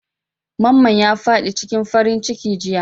Mamman ya fad'i cikin farin ciki jiya.